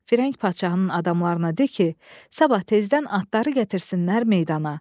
Firəng padşahının adamlarına de ki, sabah tezdən atları gətirsinlər meydana.